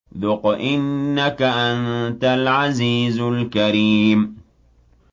ذُقْ إِنَّكَ أَنتَ الْعَزِيزُ الْكَرِيمُ